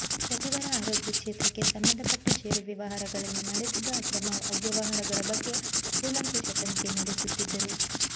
ಸಚಿವರ ಆರೋಗ್ಯ ಕ್ಷೇತ್ರಕ್ಕೆ ಸಂಬಂಧಪಟ್ಟ ಷೇರು ವ್ಯವಹಾರಗಳಲ್ಲಿ ನಡೆದಿದ್ದ ಅಕ್ರಮ ಅವ್ಯವಹಾರಗಳ ಬಗ್ಗೆ ಕೂಲಂಕಷ ತನಿಖೆ ನಡೆಸುತ್ತಿದ್ದರು